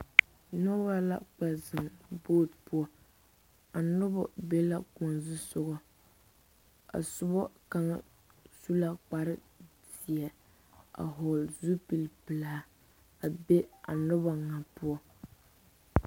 Nobɔ la kpɛ zeŋ bɔte poʊ. A nobɔ be la koɔ zusɔgo. A subo kanga su la kpare zie a vogle zupul pulaa a be a nobɔ naŋ poʊ.